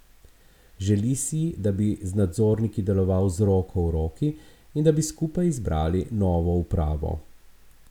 Želi si, da bi z nadzorniki deloval z roko v roki in da bi skupaj izbrali novo upravo.